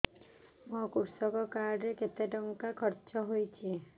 ମୋ କୃଷକ କାର୍ଡ ରେ କେତେ ଟଙ୍କା ଖର୍ଚ୍ଚ ହେଇଚି